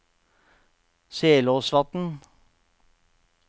Selåsvatn